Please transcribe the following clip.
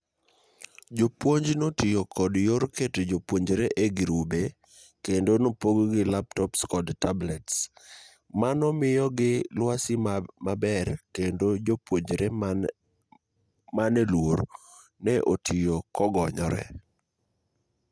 Jopuonj notiyo kod yor keto jopuonjre e girube kendo nopogogi laptops kod tablets manomiyogi luasi maber kendo jopuonjre mane luor ne otiyo kogonyre'